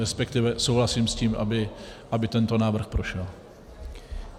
Respektive souhlasím s tím, aby tento návrh prošel.